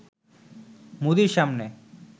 মোদির সামনে